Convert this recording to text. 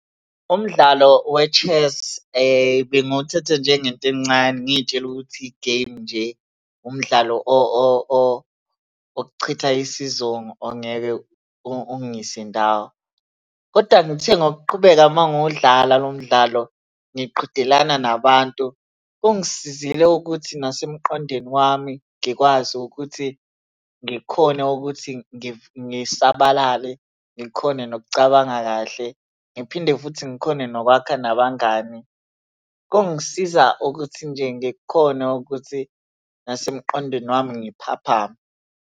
Umdlalo we-chess bengiwuthatha njengento encane ngiy'tshela ukuthi igemu nje, umdlalo wokuchitha isizungu ongeke ungise ndawo, kodwa ngithe ngokuqhubeka uma ngudlala lo mdlalo ngiqhudelana nabantu, ungisizile ukuthi nasemqondweni wami ngikwazi ukuthi ngikhone ukuthi ngisabalale, ngikhone nokucabanga kahle, ngiphinde futhi ngikhone nokwakha nabangani. Kungisiza nokuthi nje ngikhone ukuthi nasemqondweni wami ngiphaphame.